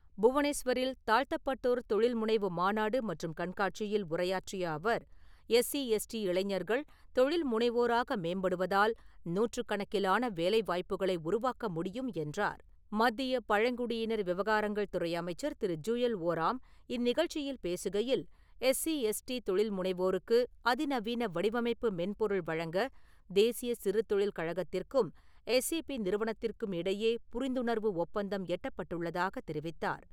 புவனேஸ்வரில் தாழ்த்தப்பட்டோர் தொழில்முனைவு மாநாடு மற்றும் கண்காட்சியில் உரையாற்றிய அவர் எஸ்சி , எஸ்டி இளைஞர்கள் தொழில்முனைவோராக மேம்படுவதால் நூற்றுக் கணக்கிலான வேலை வாய்ப்புகளை உருவாக்க முடியும் என்றார். மத்திய பழங்குடியினர் விவகாரங்கள் துறை அமைச்சர் திரு. ஜுயல் ஓராம் இந்நிகழ்ச்சியில் பேசுகையில் எஸ்சி, எஸ்டி தொழில்முனைவோருக்கு அதிநவீன வடிவமைப்பு மென்பொருள் வழங்க தேசிய சிறுதொழில் கழகத்திற்கும் எஸ்ஏபி நிறுவனத்திற்கும் இடையே புரிந்துணர்வு ஒப்பந்தம் எட்டப்பட்டுள்ளதாக தெரிவித்தார்.